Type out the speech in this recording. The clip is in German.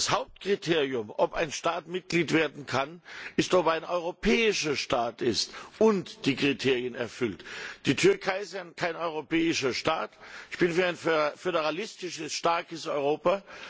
Das Hauptkriterium, ob ein Staat Mitglied werden kann, ist, ob er ein europäischer Staat ist und die Kriterien erfüllt. Die Türkei ist kein europäischer Staat. Ich bin für ein föderalistisches, starkes Europa.